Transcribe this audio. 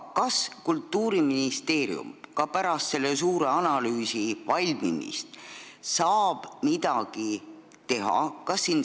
Kas Kultuuriministeerium saab pärast selle suure analüüsi valmimist selleks midagi teha?